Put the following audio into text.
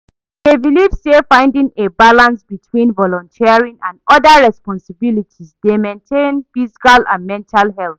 i dey believe say finding a balance between volunteering and oda responsibilities dey maintain physical and mental health.